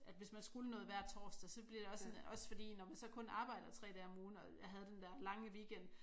At hvis man skulle noget hver torsdag så bliver det også også fordi når man så kun arbejder 3 dage om ugen og jeg havde den dér lange weekend